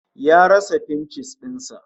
Ya rasa fincis din sa